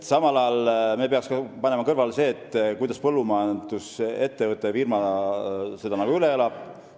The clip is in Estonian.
Samal ajal me peaks panema kõrvale selle, kuidas põllumajandusettevõte seda firmana üle elab.